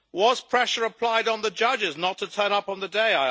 Was pressure applied on the judges not to turn up on the day?